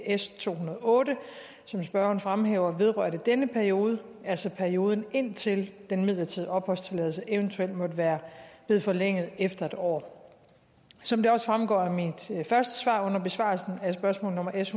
s to hundrede og otte som spørgeren fremhæver vedrørte denne periode altså perioden indtil den midlertidige opholdstilladelse eventuelt måtte være blevet forlænget efter en år som det også fremgår af mit første svar under besvarelsen af spørgsmål nummer s